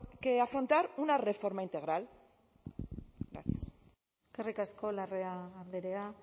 que afrontar una reforma integral gracias eskerrik asko larrea andrea